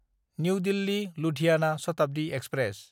new दिल्ली–लुधियाना Shatabdi express